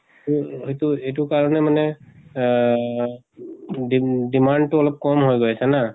তো এইটো এইটো কাৰণে মানে আ-হ দিম demand টো অলপ কম হৈ গৈ আছে ন।